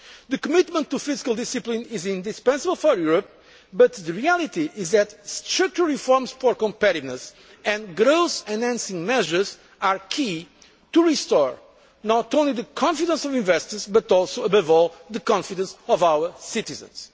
employment. The commitment to fiscal discipline is indispensable for Europe, but the reality is that structural reforms for competitiveness and growth enhancing measures are the key to restoring not only the confidence of investors but also, above all, the confidence of our